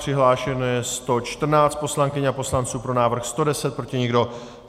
Přihlášeno je 114 poslankyň a poslanců, pro návrh 110, proti nikdo.